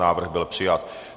Návrh byl přijat.